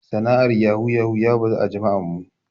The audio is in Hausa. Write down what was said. Sana'ar yahu yahu ya bazu a jama'an mu.